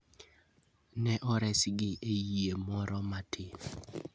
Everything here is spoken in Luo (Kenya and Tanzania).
Ne oresgi e yie moro matin.